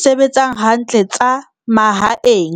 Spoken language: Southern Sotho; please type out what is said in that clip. sebetseng hantle tsa mahaeng.